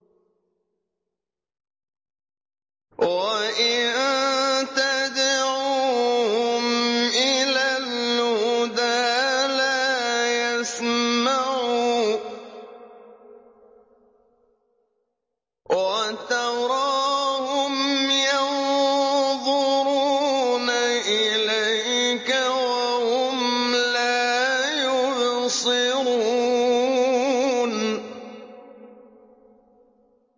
وَإِن تَدْعُوهُمْ إِلَى الْهُدَىٰ لَا يَسْمَعُوا ۖ وَتَرَاهُمْ يَنظُرُونَ إِلَيْكَ وَهُمْ لَا يُبْصِرُونَ